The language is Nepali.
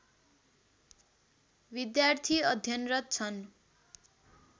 विद्यार्थी अध्यनरत छन्